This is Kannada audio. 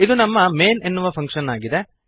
ಇದು ನಮ್ಮ ಮೈನ್ ಎನ್ನುವ ಫಂಕ್ಶನ್ ಆಗಿದೆ